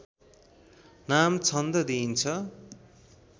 नाम छन्द दिइन्छ